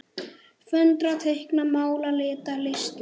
Föndra- teikna- mála- lita- listir